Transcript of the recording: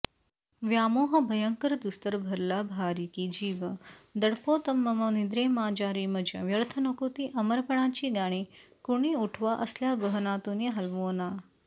व्यामोह भयंकरदुस्तर भरला भारीकी जीव दडपतोमम निद्रेमाझारीमज व्यर्थ नको तीअमरपणाची गाणी कुणी उठवा असल्यागहनातूनी हलवोना